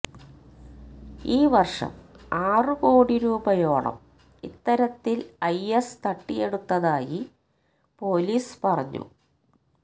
ഈ വര്ഷം ആറുകോടി രൂപയോളം ഇത്തരത്തില് ഐ എസ് തട്ടിയെടുത്തതായി പോലീസ് പറഞ്ഞു